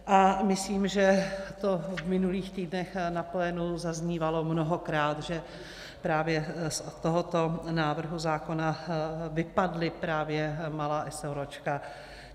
A myslím, že to v minulých týdnech na plénu zaznívalo mnohokrát, že právě z tohoto návrhu zákona vypadla právě malá eseróčka.